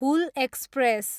Hul express